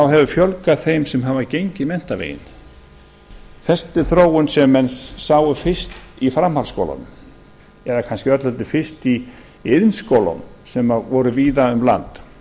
hefur fjölgað þeim sem hafa gengið menntaveginn þetta er þróun sem menn sáu fyrst í framhaldsskólanum eða öllu heldur kannski fyrst í iðnskólanum sem voru víða um land